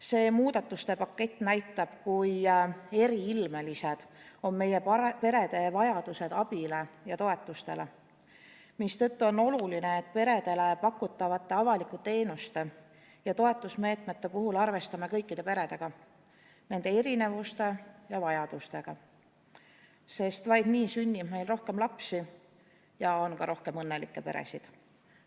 See muudatuste pakett näitab, kui eriilmelised on meie perede vajadused abi ja toetuste järele, mistõttu on oluline, et peredele pakutavate avalike teenuste ja toetusmeetmete puhul arvestame kõikide peredega, nende erinevuste ja vajadustega, sest vaid nii sünnib meil rohkem lapsi ja on ka rohkem õnnelikke peresid.